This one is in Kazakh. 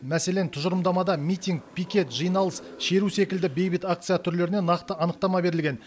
мәселен тұжырымдамада митинг пикет жиналыс шеру секілді бейбіт акция түрлеріне нақты анықтама берілген